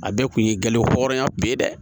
A bɛɛ kun ye gale wɔrɔnya bɛɛ ye dɛ